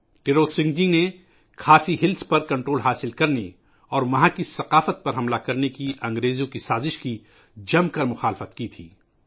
تروت سنگھ جی نے خاصی ہلس پر کنٹرول کرنے اور وہاں کی ثقافت پر حملہ کرنے کی برطانوی سازش کی شدید مخالفت کی تھی